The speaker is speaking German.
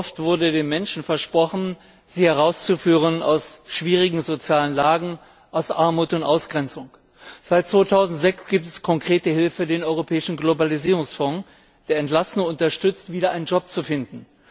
Wie oft wurde den Menschen versprochen, sie aus schwierigen sozialen Lagen, aus Armut und Ausgrenzung herauszuführen! Seit 2006 gibt es konkrete Hilfe den Europäischen Globalisierungsfonds, der Entlassene darin unterstützt, wieder einen Job zu finden.